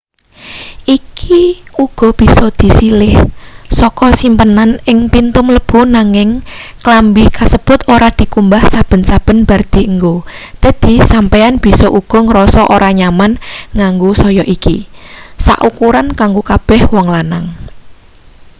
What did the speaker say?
iki uga bisa disilih saka simpenan ing pintu mlebu nanging klambi kasebut ora dikumbah saben-saben bar dienggo dadi sampeyan bisa uga ngrasa ora nyaman nganggo saya iki sak ukuran kanggo kabeh wong lanang